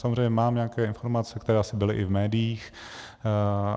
Samozřejmě mám nějaké informace, které asi byly i v médiích.